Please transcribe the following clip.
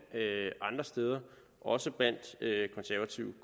andre steder også blandt konservative